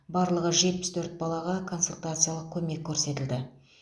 барлығы жетпіс төрт балаға консультациялық көмек көрсетілді